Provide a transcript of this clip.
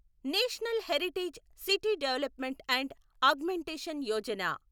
national heritage city development and augmentation Yojana